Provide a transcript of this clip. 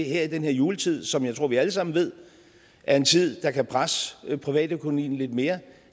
i den her juletid som jeg tror at vi alle sammen ved er en tid der kan presse privatøkonomien lidt mere